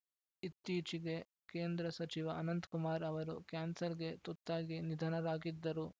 ಇತ್ತೀಚೆಗೆ ಕೇಂದ್ರ ಸಚಿವ ಅನಂತ್ಕುಮಾರ್‌ ಅವರು ಕ್ಯಾನ್ಸರ್‌ಗೆ ತುತ್ತಾಗಿ ನಿಧನರಾಗಿದ್ದರು